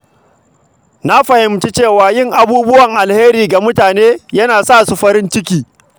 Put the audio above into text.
Na fahimci cewa yin abubuwan alkhairi ga mutane yana sa su farin ciki.